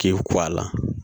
K'i ku a la